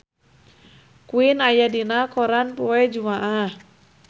Queen aya dina koran poe Jumaah